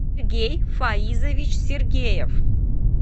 сергей фаизович сергеев